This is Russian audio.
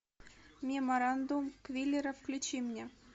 меморандум квиллера включи мне